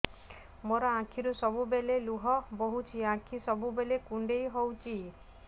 ମୋର ଆଖିରୁ ସବୁବେଳେ ଲୁହ ବୋହୁଛି ଆଖି ସବୁବେଳେ କୁଣ୍ଡେଇ ହଉଚି